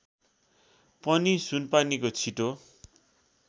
पनि सुनपानीको छिटो